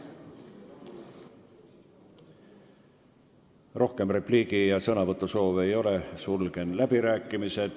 Rohkem repliigi- ega sõnasoove ei ole, sulgen läbirääkimised.